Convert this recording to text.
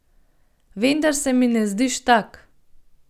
Vendar se mi ne zdiš tak.